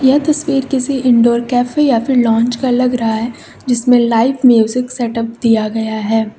यह तस्वीर किसी इनडोर कैफे या फिर लाउंज का लग रहा है जिसमें लाइव म्यूजिक सेटअप दिया गया है।